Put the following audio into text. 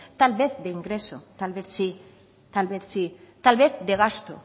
tal vez de ingresos tal vez sí tal vez de gastos